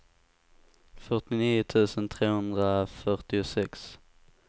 fyrtionio tusen trehundrafyrtiosex